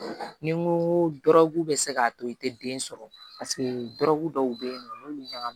Ni n ko dɔrɔgu bɛ se k'a to i tɛ den sɔrɔ dɔw bɛ yen nɔ n'olu ɲagamin